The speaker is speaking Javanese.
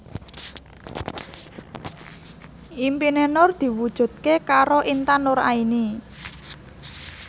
impine Nur diwujudke karo Intan Nuraini